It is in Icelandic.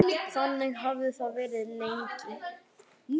Þannig hafði það verið lengi.